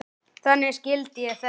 Þannig skildi ég þetta.